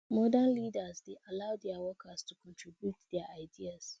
modern leaders dey allow their workers to contribute their ideas